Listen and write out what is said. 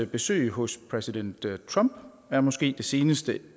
besøg hos præsident trump er måske det seneste